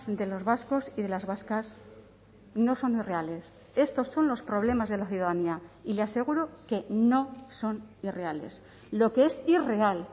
de los vascos y de las vascas no son irreales estos son los problemas de la ciudadanía y le aseguro que no son irreales lo que es irreal